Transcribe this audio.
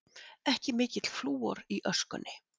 Ekki mikill flúor í öskunni